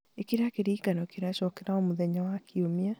ĩkĩra kĩririkano kĩrecokera o mũthenya wa kiumia